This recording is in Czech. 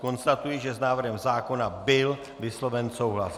Konstatuji, že s návrhem zákona byl vysloven souhlas.